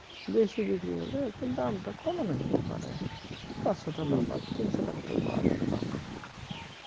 বেশি বিক্রি হলে একটু দামটা কমানো যেতে পারে পাঁচশ টাকার মাল তিনশ টাকাতেও পাওয়া যেতে পারে